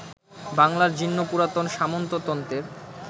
বাংলার জীর্ণ পুরাতন সামন্ততন্ত্রের